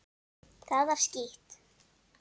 Það var skítt.